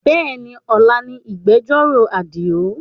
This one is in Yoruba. Bẹ́ẹ̀ni, ọ̀la ni ìgbẹ̀jọ́rò Àdìó